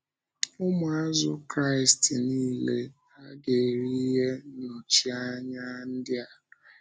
Ụmụazụ Kraịst niile hà ga-eri ihe nnọchianya ndị a?